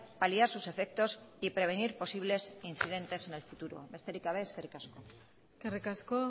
paliar sus efectos y prevenir posibles incidentes en el futuro besterik gabe eskerrik asko eskerrik asko